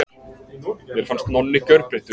Mér fannst Nonni gjörbreyttur.